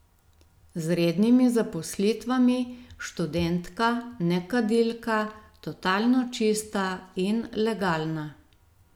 Z rednimi zaposlitvami, študentka, nekadilka, totalno čista in legalna.